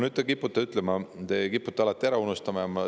Te kipute alati ära unustama.